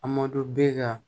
A ma don baa